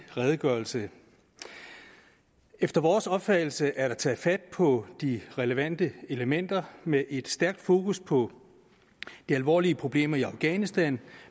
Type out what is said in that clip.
redegørelse efter vores opfattelse er der taget fat på de relevante elementer med et stærkt fokus på de alvorlige problemer i afghanistan